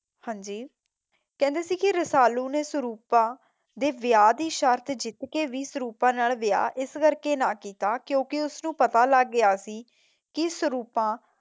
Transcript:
ਹਾਂਜੀ ਕਹਿੰਦੇ ਸੀ ਕੇ ਰਸਾਲੂ ਨੇ ਸੁਰੂਪਾ ਦੇ ਵਿਆਹ ਦੀ ਸ਼ਰਤ ਜਿੱਤ ਕੇ ਵੀ ਸੁਰੂਪਾ ਨਾਲ ਵਿਆਹ ਇਸ ਕਰਕੇ ਨਾ ਕੀਤਾ ਕਿਉਂਕਿ ਉਸ ਨੂੰ ਪਤਾ ਲੱਗ ਗਿਆ ਸੀ